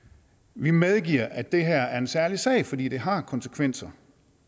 vi medgiver at det her er en særlig sag fordi det har konsekvenser